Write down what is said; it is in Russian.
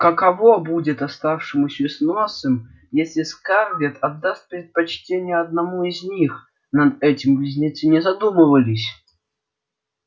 каково будет оставшемуся с носом если скарлетт отдаст предпочтение одному из них над этим близнецы не задумывались